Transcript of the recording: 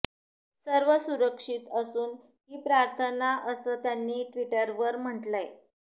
सर्व सुरक्षित असून ही प्रार्थना असं त्यांनी ट्विटरवर म्हटलंय